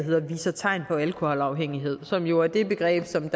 hedder viser tegn på alkoholafhængighed som jo er det begreb som